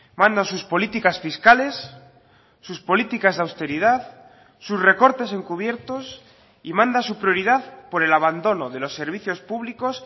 mandan sus políticas fiscales sus políticas de austeridad sus recortes encubiertos y manda su prioridad por el abandono de los servicios públicos